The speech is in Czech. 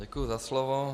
Děkuji za slovo.